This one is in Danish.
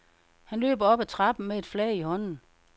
Han løber op ad trappen med et flag i hånden.